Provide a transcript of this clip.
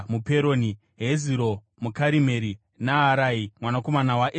Heziro muKarimeri, Naarai mwanakomana waEzibhai,